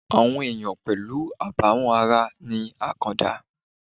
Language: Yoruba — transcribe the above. Àwọn ènìyàn pẹ̀lú àbàwón ara ni àkàndá